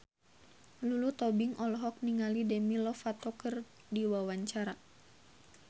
Lulu Tobing olohok ningali Demi Lovato keur diwawancara